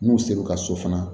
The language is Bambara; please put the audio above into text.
N'u ser'u ka so fana